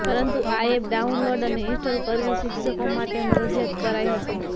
પરંતુ આ app download અને ઇન્સ્ટોલ કરવી શિક્ષકો માટે મરજિયાત કરાઇ હતી